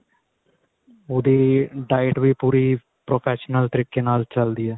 ਉਹਦੀ diet ਵੀ ਪੂਰੀ professional ਤਰੀਕੇ ਨਾਲ ਚੱਲਦੀ ਏ